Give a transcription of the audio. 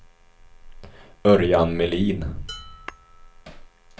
Örjan Melin